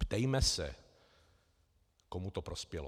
Ptejme se, komu to prospělo.